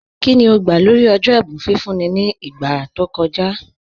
Kíni ó gbà lórí ọ̀jọ́ ẹ̀bùn fífún ní ìgbà tó kọ̀jà?